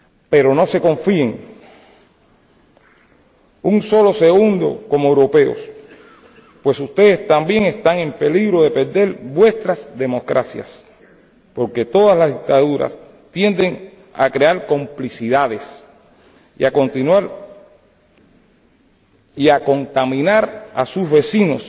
Pero no se confíen un solo segundo como europeos, pues ustedes también están en peligro de perder sus democracias, porque todas las dictaduras tienden a crear complicidades y a contaminar a sus vecinos,